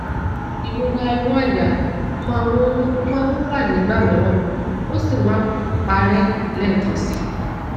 ìrora inú àyà máa ń máa ń wá nígbà mìíràn ó sì máa ń parẹ lẹẹkan síi